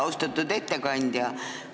Austatud ettekandja!